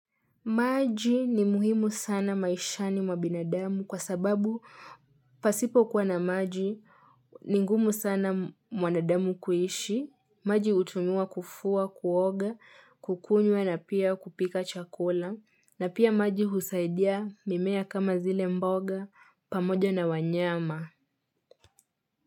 Maji ni muhimu sana maishani mwabinadamu kwa sababu pasipo kuwa na maji ni ngumu sana mwanadamu kuishi, maji hutumiwa kufua, kuoga, kukunywa na pia kupika chakula na pia maji husaidia mimea kama zile mboga pamoja na wanyama.